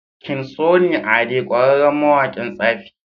king sunny ade ƙwarere mawaƙin tsafi